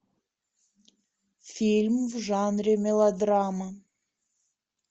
фильм в жанре мелодрама